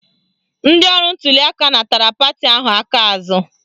Ndị ọrụ ntuliaka natara pati ahụ aka azụ